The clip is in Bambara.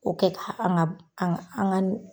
O kɛ ka an ka an ka an ka ni